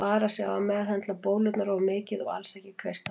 Vara sig á að meðhöndla bólurnar of mikið og alls ekki kreista þær.